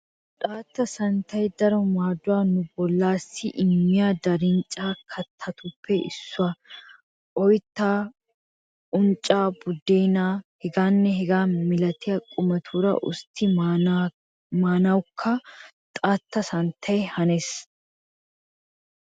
Xaatta santtay daro maaduwaa nu bollaassi immiya daarinchcha kattatuppe issuwaa. Oyttaa, uncccaa, buddeennaanne hegaanne hegaa milatiya qumatuura usttidi maanawukka xaatta santtay hanees.